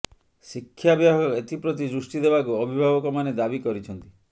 ଶିକ୍ଷା ବିଭାଗ ଏଥିପ୍ରତି ଦୃଷ୍ଟି ଦେବାକୁ ଅଭିଭାବକମାନେ ଦାବି କରିଛନ୍ତି